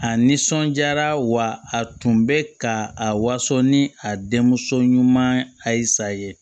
A nisɔnjaara wa a tun bɛ ka a waso ni a denmuso ɲuman ayi sa ye